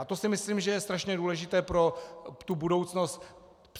A to si myslím, že je strašně důležité pro tu budoucnost.